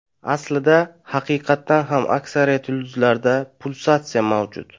Aslida, haqiqatan ham aksariyat yulduzlarda pulsatsiya mavjud.